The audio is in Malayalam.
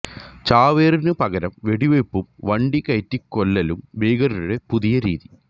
ചാവേറിനു പകരം വെടിവെയ്പും വണ്ടി കയറ്റിക്കൊല്ലലും ഭീകരരുടെ പുതിയ രീതി